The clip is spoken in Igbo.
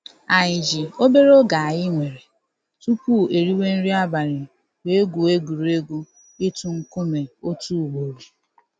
Anyị ji obere oge anyị nwere tupu e riwe nri abali wee gwue egwuregwu ịtụ nkume otu ugboro.